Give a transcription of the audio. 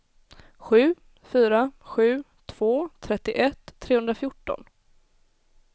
sju fyra sju två trettioett trehundrafjorton